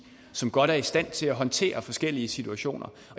som godt er i stand til at håndtere de forskellige situationer